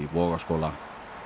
Vogaskóla